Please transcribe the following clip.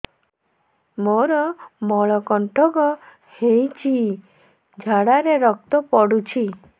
ମୋରୋ ମଳକଣ୍ଟକ ହେଇଚି ଝାଡ଼ାରେ ରକ୍ତ ପଡୁଛି